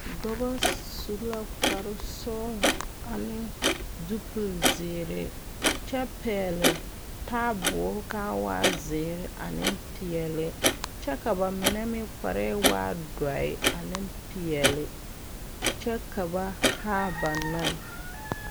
Dɔbɔ su la kpare sɔglɔ ane zupilzeere kyɛ pɛgle taaboore ka a waa zeere ane peɛle kyɛ ka ba mine meŋ kpare waɛ doɔre ne peɛle kyɛ ka ba haa ba nɔɛ.